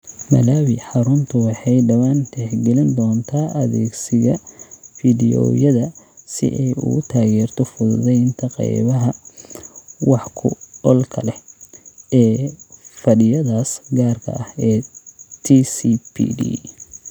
Malawi, xaruntu waxay dhawaan tixgelin doontaa adeegsiga fiidiyowyada si ay u taageerto fududaynta qaybaha 'wax ku oolka leh' ee fadhiyadaas gaarka ah ee TCPD.